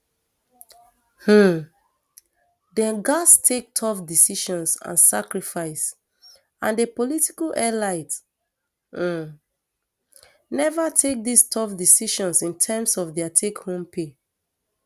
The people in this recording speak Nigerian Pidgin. um dem gatz take tough decisions and sacrifice and di political elites um neva take dis tough decisions in terms of dia takehome pay